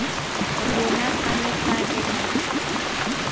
rona fano fa re na